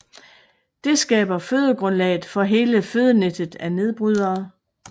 Det skaber fødegrundlaget for hele fødenettet af nedbrydere